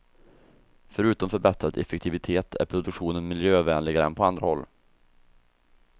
Förutom förbättrad effektivitet är produktionen miljövänligare än på andra håll.